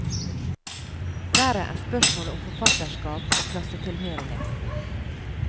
Verre er spørsmålet om forfatterskap og klassetilhørighet.